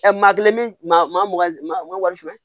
Maa kelen bi maa warisen